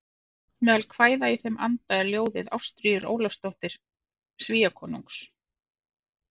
Meðal kvæða í þeim anda er ljóðið Ástríður Ólafsdóttir Svíakonungs